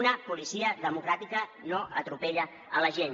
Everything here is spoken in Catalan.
una policia democràtica no atropella la gent